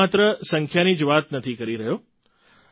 અને હું માત્ર સંખ્યાની જ વાત નથી કરી રહ્યો